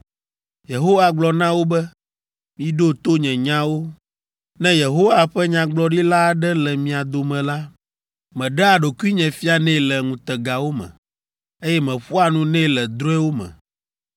Yehowa gblɔ na wo be, “Miɖo to nye nyawo: “Ne Yehowa ƒe nyagblɔɖila aɖe le mia dome la, meɖea ɖokuinye fianɛ le ŋutegawo me, eye meƒoa nu nɛ le drɔ̃ewo me.